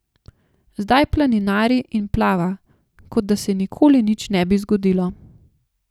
Zdaj planinari in plava, kot da se nikoli ne bi nič zgodilo.